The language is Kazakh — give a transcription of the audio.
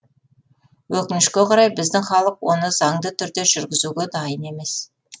өкінішке қарай біздің халық оны заңды түрде жүргізуге дайын емес